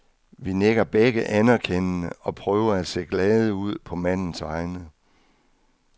Vi nikker begge anerkendende og prøver at se glade ud på mandens vegne.